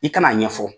I kan'a ɲɛfɔ